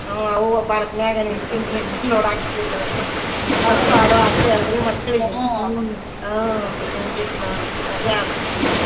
ಹ್ಮ್ ಅವು ಬಾಳ್ಹೊತ್ನ್ಯಾಗ ನಿತ್ ನಿತ್ ನಿತ್ ನೋಡಾಕ್ ಹತ್ತಿದ್ವು ರಿ ಅವುಕ್ಕು ಆಡೋ ಆಸೆ ಅಲ್ರೀ ಮಕ್ಳಿಗೆ ಹ್ಮ್ ನ್ರಿ ಹಿಂಗಿತ್ ನೋಡ್ರಿ ಮಜಾ ಆತ್ರಿ ಹ್ಮ್.